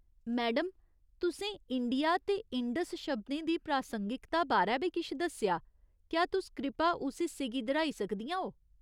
Madam, तुसें India ते इंडस शब्दें दी प्रासंगिकता बारै बी किश दस्सेआ , क्या तुस कृपा उस हिस्से गी दर्‌हाई सकदियां ओ ?